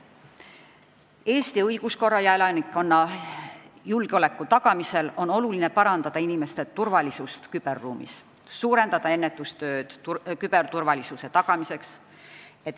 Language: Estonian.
Eesti õiguskorra ja elanikkonna julgeoleku tagamisel on oluline parandada inimeste turvalisust küberruumis, suurendada ennetustööd küberturvalisuse tagamiseks.